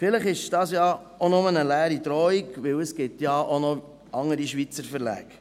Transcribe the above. Vielleicht ist es ja auch nur eine leere Drohung, denn es gibt ja auch noch andere Schweizer Verlage.